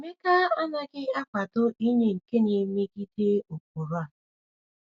Emeka anaghị akwado inye nke na-emegide ụkpụrụ a.